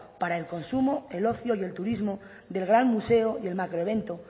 para el consumo el ocio y el turismo del gran museo y el macroevento